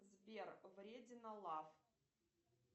сбер вредина лав